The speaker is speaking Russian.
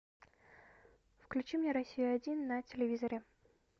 включи мне россию один на телевизоре